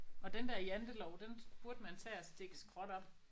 Og den der jantelov den burde man tage og stikke skråt op